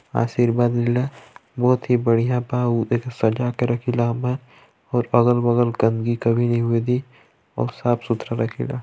आशीर्वाद मिला बहुत ही बढ़िया बा अऊ सजा के रखेला इमे कुछ अगल-बगल गन्दगी कभी नी होइ दी और साफ सुथरा रखे ला।